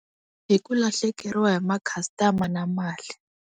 Hi ku lahlekeriwa hi makhastama na mali.